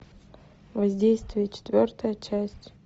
воздействие четвертая часть